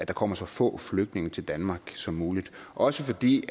kommer så få flygtninge til danmark som muligt også fordi